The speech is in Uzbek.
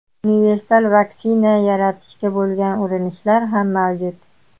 Universal vaksina yaratishga bo‘lgan urinishlar ham mavjud.